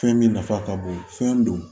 Fɛn min nafa ka bon fɛn don